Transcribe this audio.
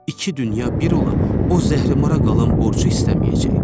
İki dünya bir ola, o zəhrimara qalan borcu istəməyəcək.